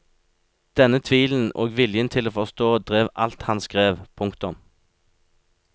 Denne tvilen og viljen til å forstå drev alt han skrev. punktum